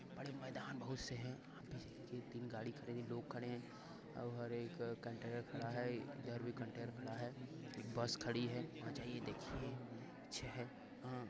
बड़े मैदान बहुत से है। तीन गाड़ी खड़ी है लोग खड़े हैं और ह एक कंटेनर खड़ा है। इधर भी कंटेनर खड़ा है बस खड़ी है वहाँ जाइए देखिए अच्छे हैं। आ --